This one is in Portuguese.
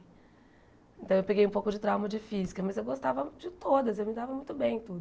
Então eu peguei um pouco de trauma de física, mas eu gostava de todas, eu me dava muito bem em tudo.